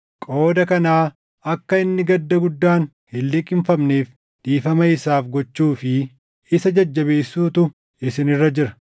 Qooda kanaa akka inni gadda guddaan hin liqimfamneef dhiifama isaaf gochuu fi isa jajjabeessuutu isin irra jira.